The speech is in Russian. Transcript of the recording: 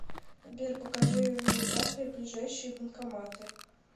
сбер покажи в навигаторе ближайшие банкоматы